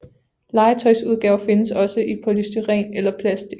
Legetøjsudgaver findes også i polystyren eller plastik